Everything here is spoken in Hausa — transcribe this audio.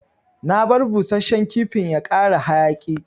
Na bar busashen kifin ya kara hayaki.